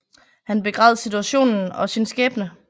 Han begræd situationen og sin skæbne